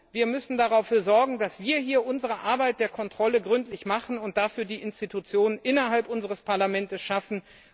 Wir müssen dafür sorgen, dass wir unsere Arbeit der Kontrolle gründlich machen und die Institution dafür innerhalb unseres Parlaments schaffen.